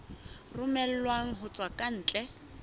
romellwang ho tswa ka ntle